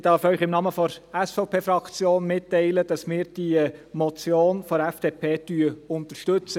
Ich darf Ihnen im Namen der SVP-Fraktion mitteilen, dass wir die Motion der FDP unterstützen.